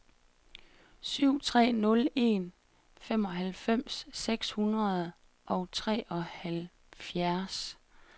syv tre nul en femoghalvfems seks hundrede og treoghalvfjerds